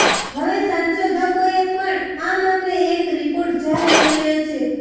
હવે સંશોધકોએ પણ આ મામલે એક રિપોર્ટ જાહેર કર્યો છે